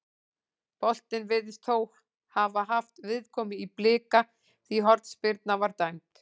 Boltinn virðist þó hafa haft viðkomu í Blika því hornspyrna var dæmd.